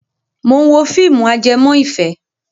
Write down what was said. Mò ń wo fíìmù ajẹmọ́ ìfẹ́